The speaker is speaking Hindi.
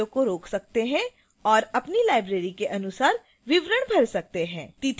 आप वीडियो को रोक सकते हैं और अपनी लाइब्रेरी के अनुसार विवरण भर सकते हैं